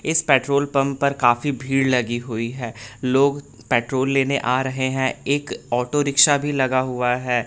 इस petrol pump पर काफी भीड़ लगी हुई है लोग पेट्रोल लेने आ रहे हैं एक ऑटो रिक्शा भी लगा हुआ है।